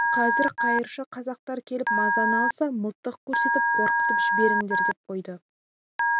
қазір қайыршы қазақтар келіп мазаны алса мылтық көрсетіп қорқытып жіберіңдер деп қойды